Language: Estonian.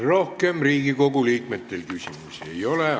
Rohkem Riigikogu liikmetel küsimusi ei ole.